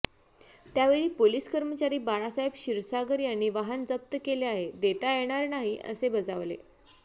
त्यावेळी पोलीस कर्मचारी बाळासाहेब क्षीरसागर यांनी वाहन जप्त केले आहे देता येणार नाही असे बजावले